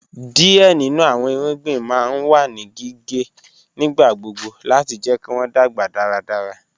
Díẹ̀ nínu àwọn ìrúgbìn ma n wà ní gíǵẹ̀ nígbàgbọ̀gbọ̀ láti jẹ̀ kí wọn dágba dáràdárà